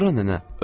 Hara nənə?